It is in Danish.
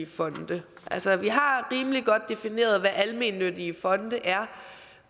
fonde altså vi har rimelig godt defineret hvad almennyttige fonde er